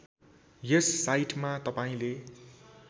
यस साइटमा तपाईँले